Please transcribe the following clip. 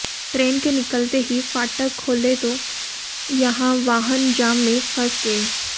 train के निकलते ही फाटक खोले तो यहां वाहन जाम में फंस गए